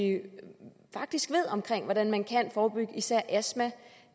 faktisk ved at man kan forebygge især astma